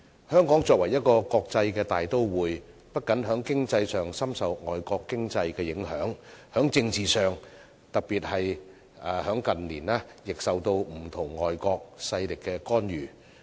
香港作為一個國際大都會，不僅在經濟上深受外圍經濟的影響，在政治上，特別在近年，亦受到不同外國勢力的干預。